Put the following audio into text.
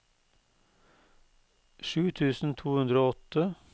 sju tusen to hundre og åtte